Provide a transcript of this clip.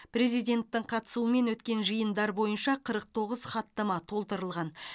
президенттің қатысуымен өткен жиындар бойынша қырық тоғыз хаттама толтырылған